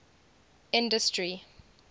industry